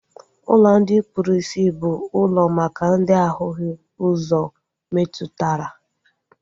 Ụlọ ndi kpụrụ isi bụ ụlọ maka ndị ahụghị ụzọ metụtara